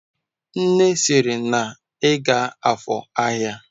Nne siri na iga afor ahia!